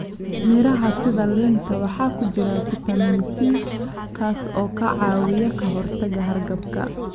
Miraha sida liinta waxaa ku jira fitamiin C kaas oo ka caawiya ka hortagga hargabka.